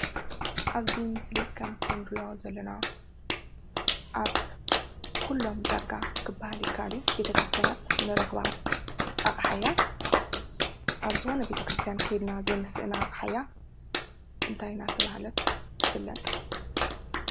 አብዚ ምሰሊ ከምቲ ንሪኦ ዘለና አብ ኩሉም ዳርጋ ክባሃል ይካአል እዩ። ቤተክርስትያናት ንረኽባ አቅሓ እያ ።አብ ዝኾነ ቤተ ክርስትያን ከይድና ዘይንስእና አቅሓ እያ ።እንታይ እናተባህለት ትፍልጥ?